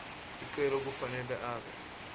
sicelo kufanele abe